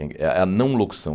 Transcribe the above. É é a não-locução.